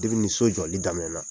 ni so jɔli daminɛna